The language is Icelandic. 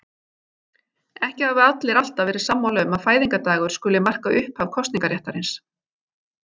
Ekki hafa allir alltaf verið sammála um að fæðingardagur skuli marka upphaf kosningaréttarins.